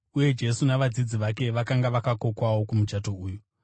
uye Jesu navadzidzi vake vakanga vakokwawo kumuchato uyu.